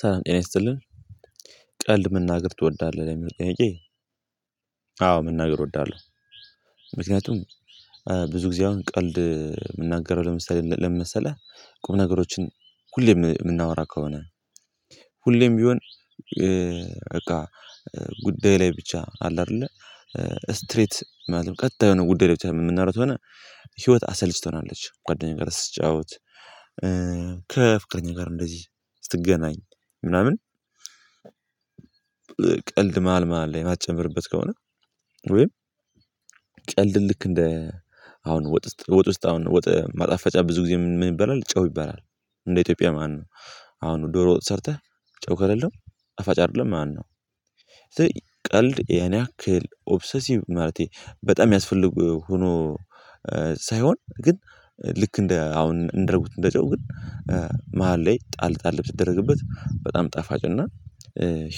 ሰላም ጤና ይስጥልን ቀልድ መናገር ትወዳለህ ለሚለው ጥያቄ? አዎ መናገር እወዳለሁ። ምክንያቱም ብዙ ጊዜ አሁን ቀልድ የምናገረው ለምሳሌ ለምን መሰለህ ቁም ነገሮችን ሁሌም የምናወራ ከሆነ። ሁሌም ቢሆን። በቃ ጉዳይ ላይ ብቻ አለ አይደለ። ስትሬት ማለት ቀጥታ የሆነ ጉዳይ ላይ ብቻ የምናደርገው ከሆነ። አሰልች ትሆናለች ጓደኛዬን ጋር ስትጫወት ከፍቅረኛ ጋር እንደዚህ ስትገናኝ ምናምን ቀልድ መሃል መሃል ላይ የማትጨምርበት ከሆነ። ወይ ልክ እንደ አሁን ወጥ ውስጥ አሁን ወጥ ማጣፈጫ ብዙ ጊዜ ምን ይበላል ጨው ይበላል እንደ ኢትዮጵያ ማነው? አሁን ዶሮ ወጥ ሰርተህ ጨው ከሌለው ጣፋጭ አይደለም ማለት ነው። ቀልድ ያን ያክል ኦብሰሲቭ ማለቴ በጣም የሚያስፈልግ ሆኖ ሳይሆን ግን ልክ እንደ አሁን እንዳልኩት እንደጨው ግን መሃል ላይ ጣል ጣል ብትደረግበት በጣም ጣፋጭ እና